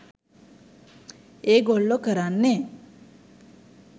එගොල්ලො කරන්නේ